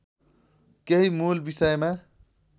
केही मूल विषयमा